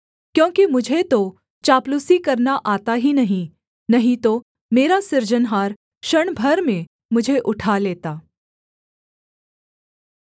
क्योंकि मुझे तो चापलूसी करना आता ही नहीं नहीं तो मेरा सृजनहार क्षण भर में मुझे उठा लेता